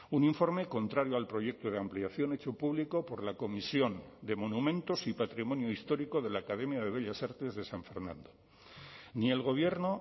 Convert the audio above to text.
un informe contrario al proyecto de ampliación hecho público por la comisión de monumentos y patrimonio histórico de la academia de bellas artes de san fernando ni el gobierno